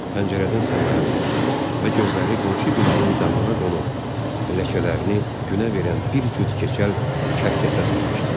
Pəncərədən səmaya baxdı və gözləri qonşu binanın damına qonub ləkələrini günə verən bir cüt keçəl kərkəsə sataşdı.